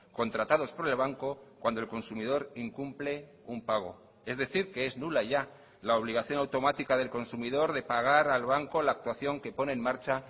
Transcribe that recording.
contratados por el banco cuando el consumidor incumple un pago es decir que es nula ya la obligación automática del consumidor de pagar al banco la actuación que pone en marcha